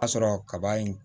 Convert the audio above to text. A sɔrɔ kaba in